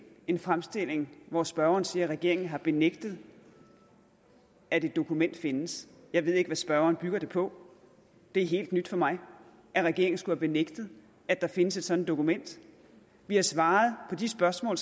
den fremstilling hvor spørgeren siger at regeringen har benægtet at et dokument findes jeg ved ikke hvad spørgeren bygger det på det er helt nyt for mig at regeringen skulle have benægtet at der findes et sådant dokument vi har svaret på de spørgsmål